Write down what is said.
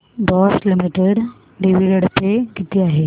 Bosch limited dividend pay किती आहे